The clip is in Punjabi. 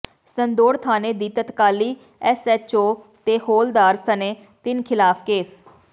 ਸੰਦੌੜ ਥਾਣੇ ਦੀ ਤਤਕਾਲੀ ਐਸਐਚਓ ਤੇ ਹੌਲਦਾਰ ਸਣੇ ਤਿੰਨ ਖ਼ਿਲਾਫ਼ ਕੇਸ